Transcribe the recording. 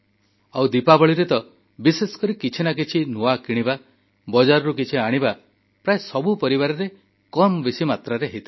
ଆଉ ଦୀପାବଳିରେ ତ ବିଶେଷକରି କିଛି ନା କିଛି ନୂଆ କିଣିବା ବଜାରରୁ କିଛି ଆଣିବା ପ୍ରାୟ ସବୁ ପରିବାରରେ କମ୍ ବେଶୀ ମାତ୍ରାରେ ହୋଇଥାଏ